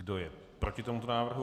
Kdo je proti tomuto návrhu?